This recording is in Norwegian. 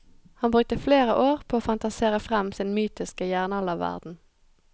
Han brukte flere år på å fantasere frem sin mytiske jernalderverden.